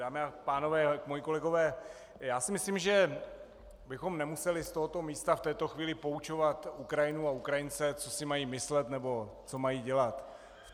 Dámy a pánové, moji kolegové, já si myslím, že bychom nemuseli z tohoto místa v této chvíli poučovat Ukrajinu a Ukrajince, co si mají myslet nebo co mají dělat.